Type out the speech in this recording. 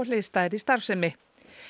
hliðstæðri starfsemi